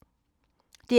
DR P2